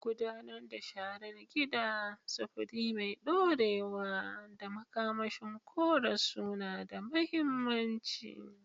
Gudanar da sharar gida, sufuri mai dorewa, da makamashin kore suna da mahimmanci.